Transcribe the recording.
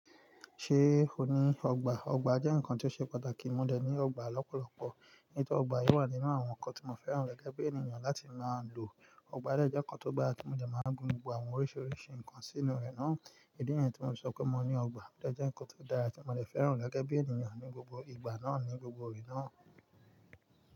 Ṣé ò ní ọgbà? Ọgbà jẹ́ nǹkan tí ó ṣe pàtàkì. Mo dẹ̀ ní ọgbà lọ́pọ̀lọpọ̀. Nítorí ọgbà yii wà nínú àwọn ǹkan tí mo fẹ́ràn gẹ́gẹ́ bí ènìyàn láti máa ń lò. Ọgbà dẹ́ jẹ́ nǹkan tó gbá tí mo dẹ̀ máa ń gbin àwọn oríṣiríṣi nǹkan sínú rẹ̀ náà. Ìdí niyẹn tí mo sọ pé mo ní ọgbà odẹ́ jẹ́ nǹkan tó dára tí mo dẹ̀ fẹ́ràn gẹ́gẹ́ bí ènìyàn ní gbogbo ìgbà náà ní gbogbo òrè náà.